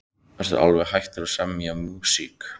Ertu alveg hættur að semja músík?